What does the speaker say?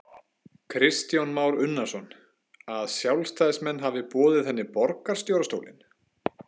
Kristján Már Unnarsson: Að sjálfstæðismenn hafi boðið henni borgarstjórastólinn?